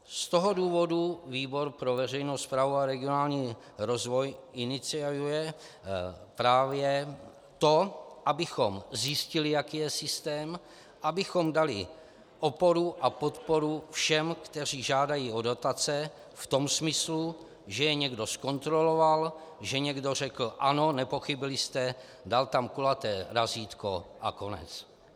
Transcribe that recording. Z toho důvodu výbor pro veřejnou správu a regionální rozvoj iniciuje právě to, abychom zjistili, jaký je systém, abychom dali oporu a podporu všem, kteří žádají o dotace, v tom smyslu, že je někdo zkontroloval, že někdo řekl ano, nepochybili jste, dal tam kulaté razítko a konec.